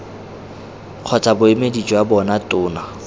kgotsa boemedi jwa bona tona